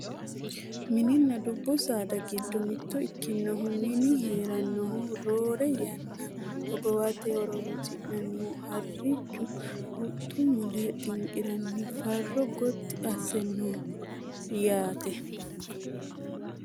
Mininna dubbu saada giddo mitto ikkinohu mine heerannohu roore yanna hogowate horonsi'nannihu harrichu huxxu mule xinqiranni farro gotti asse no yaate